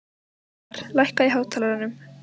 Ævarr, lækkaðu í hátalaranum.